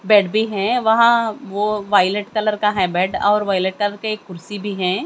Bed है वहां वह वायलेट कलर का है बेड और वायलेट कलर के कुर्सी भी है।